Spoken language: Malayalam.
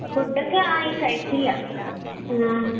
ഫുഡൊക്കെ ആയി കഴിച്ചില്ല